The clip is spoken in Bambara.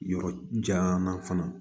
Yɔrɔ jan fana